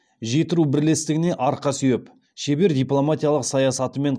жетіру бірлестігіне арқа сүйеп шебер дипломатиялық саясатымен